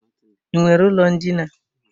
I nwere ụlọ ndina?